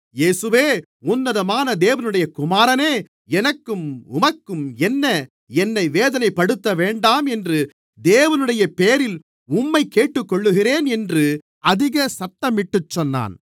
இயேசுவே உன்னதமான தேவனுடைய குமாரனே எனக்கும் உமக்கும் என்ன என்னை வேதனைப்படுத்தவேண்டாம் என்று தேவனுடைய பெயரில் உம்மைக் கேட்டுக்கொள்ளுகிறேன் என்று அதிக சத்தமிட்டுச் சொன்னான்